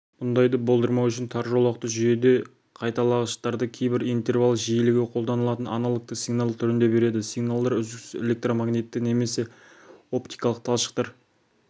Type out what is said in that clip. мұндайды болдырмау үшін тар жолақты жүйеде қайталағыштарды кейбір интервал жиілігі қолданылатын аналогтық сигнал түрінде береді сигналдар үздіксіз электромагнитті немесе оптикалық талшықтар